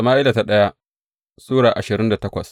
daya Sama’ila Sura ashirin da takwas